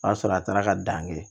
O y'a sɔrɔ a taara ka dan kɛ